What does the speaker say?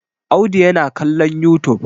Audu yana kallon youtube.